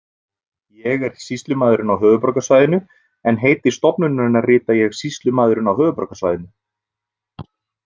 Ég er sýslumaðurinn á höfuðborgarsvæðinu en heiti stofnunarinnar rita ég Sýslumaðurinn á höfuðborgarsvæðinu.